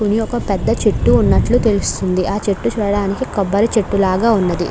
కూని ఒక పెద్ద చెట్టు ఉన్నట్లు తెలుస్తుంది. ఆ చెట్టు చూడడానికి కొబ్బరి చెట్టు లాగా ఉన్నది.